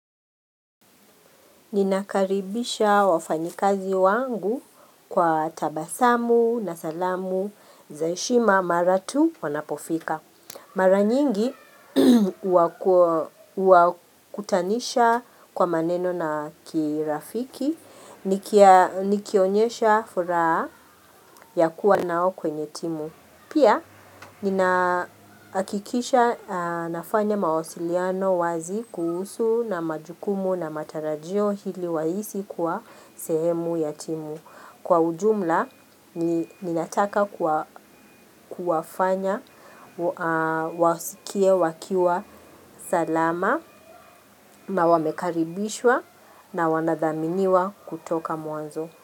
Ninakaribisha wafanyikazi wangu kwa tabasamu na salamu za heshima mara tu wanapofika. Mara nyingi huwakutanisha kwa maneno na kirafiki, nikionyesha furaha ya kuwa nao kwenye timu. Pia, ninahakikisha nafanya mawasiliano wazi kuhusu na majukumu na matarajio ili wahisi kwa sehemu ya timu. Kwa ujumla, ninataka kuwafanya, wasikie, wakiwa, salama na wamekaribishwa na wanadhaminiwa kutoka mwanzo.